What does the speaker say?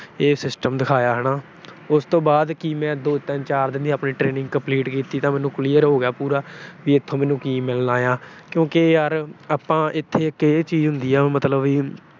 ਇਹ system ਦਿਖਾਇਆ ਹਨਾ। ਉਸ ਤੋਂ ਬਾਅਦ ਮੈਂ ਦੋ ਤਿੰਨ ਚਾਰ ਦੀ ਆਪਣੀ training ਕੀਤੀ, ਤਾਂ ਮੈਨੂੰ clear ਹੋ ਗਿਆ ਪੂਰਾ। ਵੀ ਇੱਥੋਂ ਮੈਨੂੰ ਕੀ ਮਿਲਣਾ ਆ ਕਿਉਂਕਿ ਯਾਰ ਇੱਥੇ ਇੱਕ ਉਹ ਚੀਜ ਹੁੰਦੀ ਆ ਮਤਲਬ ਵੀ